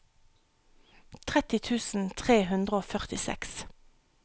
tretti tusen tre hundre og førtiseks